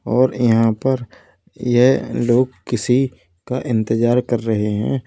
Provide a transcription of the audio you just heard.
और यहां पर यह लोग किसी का इंतजार कर रहे हैं।